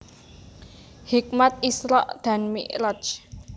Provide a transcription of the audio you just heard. Hikmat Isra dan Mikraj